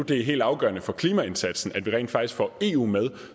det er helt afgørende for klimaindsatsen at vi rent faktisk får eu med